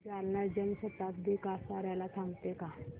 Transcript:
जालना जन शताब्दी कसार्याला थांबते का